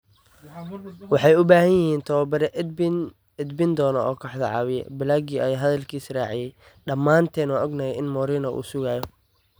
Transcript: “Waxay u baahan yihiin tababare edbin doona oo kooxda caawiya. Blague ayaa hadalkiisa raaciyay: “Dhamaanteen waan ognahay in Mourinho uu sugayo”.